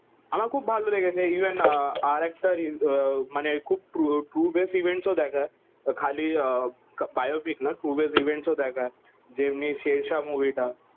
আমার খুব ভালো লেগেছে ইভেন আ আর একটা ট্রু বেশ ইভেন্টস ও দেখেয়ে খালি আহ বায়ো পিক না ট্রু বেশ ইভেন্টস ও দেখায়ে যেমনি শের শাহ মুভি টা